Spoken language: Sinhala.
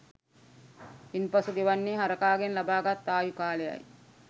ඉන්පසු ගෙවන්නේ හරකාගෙන් ලබාගත් ආයු කාලයයි